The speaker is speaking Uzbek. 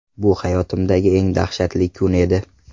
Bu hayotimdagi eng dahshatli kun edi.